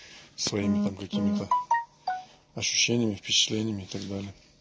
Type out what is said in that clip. своими там какими-то ощущениями впечатлениями и так далее